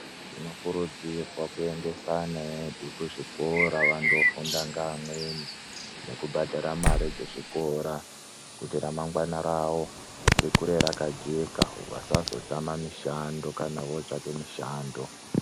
Tinokurudzirwa kuyendese ana edu kuzvikora vandofunda ngemweni ngekubhadhara mari dzezvikora kuti ramangwana ravo rikure rakajeka vasazotame mishando kana votsvake mishando.